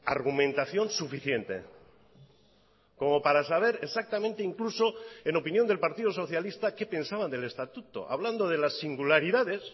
argumentación suficiente como para saber exactamente incluso en opinión del partido socialista qué pensaban del estatuto hablando de las singularidades